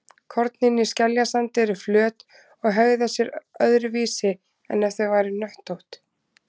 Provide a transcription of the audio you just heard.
Kornin í skeljasandi eru flöt og hegða sér öðruvísi en ef þau væru hnöttótt.